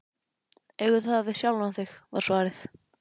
Eigðu það við sjálfan þig, var svarið.